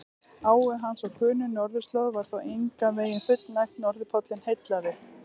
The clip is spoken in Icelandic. Áhuga hans á könnun norðurslóða var þó engan veginn fullnægt, norðurpóllinn heillaði.